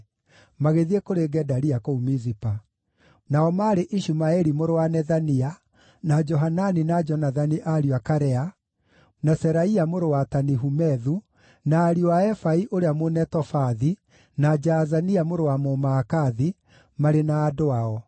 magĩthiĩ kũrĩ Gedalia kũu Mizipa: nao maarĩ Ishumaeli mũrũ wa Nethania, na Johanani na Jonathani ariũ a Karea, na Seraia mũrũ wa Tanihumethu, na ariũ a Efai ũrĩa Mũnetofathi, na Jaazania mũrũ wa Mũmaakathi, marĩ na andũ ao.